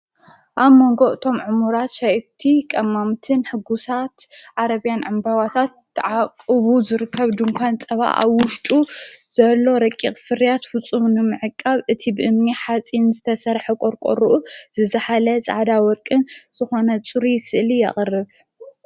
ኣብ መንጎዕ ቶም ዕሙራት ሻእቲ ቐማምትን ሕጉሳት ዓረብያን ዕምበዋታት ተዓቕቡ ዘርከብ ድንኳን ጸባእ ኣብ ውሽጡ ዘሎ ረቂቕ ፍርያት ፍፁምኒ ምሐቃብ እቲ ብእምኒ ሓጺን ዘተሠርሐ ቖርቈርኡ ዘዛኃለ ፃዕዳ ወርቅን ዝኾነ ጽር ስእሊ ኣቐርብ።